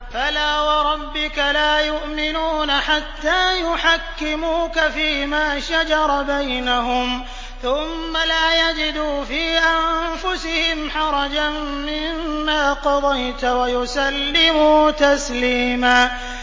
فَلَا وَرَبِّكَ لَا يُؤْمِنُونَ حَتَّىٰ يُحَكِّمُوكَ فِيمَا شَجَرَ بَيْنَهُمْ ثُمَّ لَا يَجِدُوا فِي أَنفُسِهِمْ حَرَجًا مِّمَّا قَضَيْتَ وَيُسَلِّمُوا تَسْلِيمًا